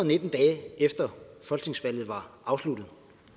nitten dage efter folketingsvalget var afsluttet